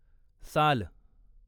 साल